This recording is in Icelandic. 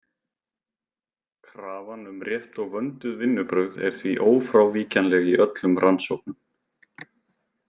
Krafan um rétt og vönduð vinnubrögð er því ófrávíkjanleg í öllum rannsóknum.